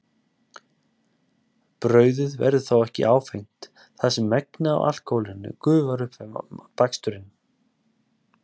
Brauðið verður þó ekki áfengt þar sem megnið af alkóhólinu gufar upp við baksturinn.